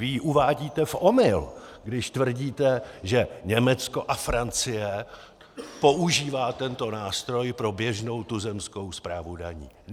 Vy ji uvádíte v omyl, když tvrdíte, že Německo a Francie používají tento nástroj pro běžnou tuzemskou správu daní.